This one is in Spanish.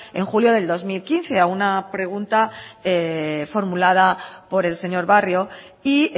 en julio del dos mil quince a una pregunta formulada por el señor barrio y